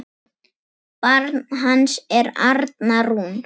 Barn hans er Arna Rún.